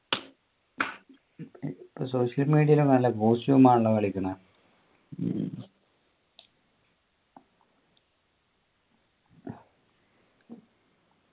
social media യിൽ നല്ല costume ആണല്ലോ കളിക്കുന്നെ